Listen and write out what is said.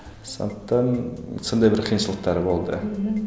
сондықтан сондай бір қиыншылықтары болды мхм